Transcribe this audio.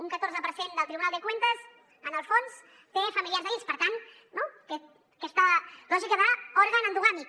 un catorze per cent del tribunal de cuentas en el fons té familiars a dins per tant aquesta lògica d’òrgan endogàmic